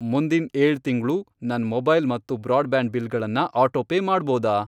ಮುಂದಿನ್ ಏಳು ತಿಂಗ್ಳು, ನನ್ ಮೊಬೈಲ್ ಮತ್ತು ಬ್ರಾಡ್ಬ್ಯಾಂಡ್ ಬಿಲ್ಗಳನ್ನ ಆಟೋಪೇ ಮಾಡ್ಬೋದಾ?